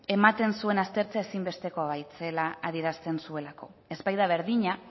ematen zuen aztertzea ezinbestekoa zela adierazten zuelako ez baita berdina